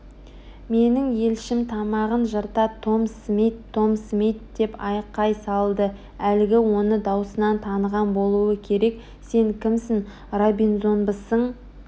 менің елшім тамағын жырта том смит том смит деп айқай салды әлгі оны даусынан таныған болуы керек сен кімсің робинзонбысың